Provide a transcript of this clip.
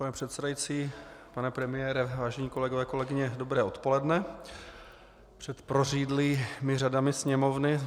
Pane předsedající, pane premiére, vážení kolegové, kolegyně, dobré odpoledne před prořídlými řadami Sněmovny.